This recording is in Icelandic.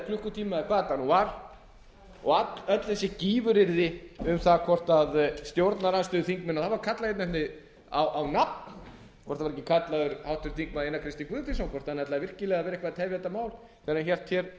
hvað það nú var og öll þessi gífuryrði um það hvort stjórnarandstöðuþingmenn og það var kallað á nafn hvort það var ekki kallaður háttvirtur þingmaður einar k guðfinnsson hvort hann ætlaði virkilega að vera eitthvað að tefja þetta mál þegar hann hélt